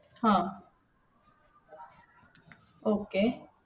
हम्म Okey